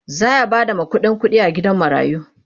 zaya Bada makudan kuɗi a gidan marayun